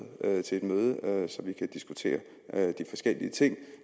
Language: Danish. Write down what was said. til et møde så vi kan diskutere de forskellige ting